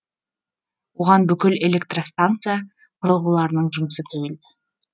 оған бүкіл электростанса құрылғыларының жұмысы тәуелді